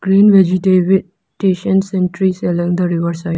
Green vegete and trees along the river side.